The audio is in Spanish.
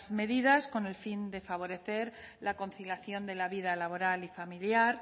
medidas con el fin de favorecer la conciliación de la vida laboral y familiar